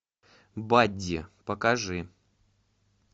бадди покажи